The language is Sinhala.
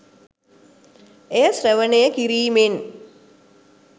එය ශ්‍රවණය කිරීමෙන්